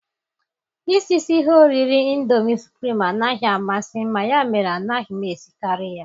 Isisi ihe oriri ịndomi supụrim anaghị amasị mma, ya mere anaghị m esikarị ya.